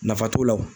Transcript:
Nafa t'o la wo